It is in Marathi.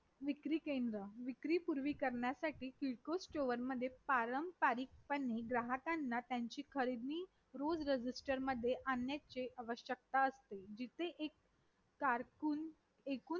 तिथे आपण आपणास सर्व राज्ये हे वेगवेगळ्या जमातीमध्ये आढळतील तर मग माझे मत असेे की किंवा आपण जर समान नागरी कायदा सर्वीकडे सर्वांकडे लागू करायचा म्हटलं तर पहिली गोष्ट